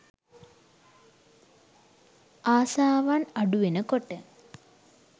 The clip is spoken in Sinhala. ආසාවන් අඩුවෙන කොට